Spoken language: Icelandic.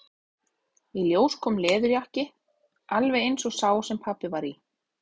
Í ljós kom leðurjakki, alveg eins og sá sem pabbi var í.